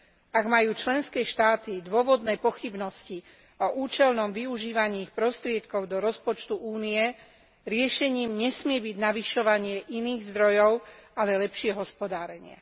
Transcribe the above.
Ak majú členské štáty dôvodné pochybnosti o účelnom využívaní ich prostriedkov do rozpočtu Únie, riešením nesmie byť navyšovanie iných zdrojov, ale lepšie hospodárenie.